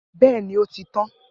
Bẹẹni, o ti tan.